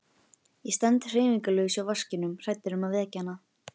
Ég stend hreyfingarlaus hjá vaskinum hræddur um að vekja hana.